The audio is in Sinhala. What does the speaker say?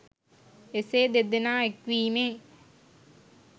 එසේ දෙදෙනා එක්වීමේ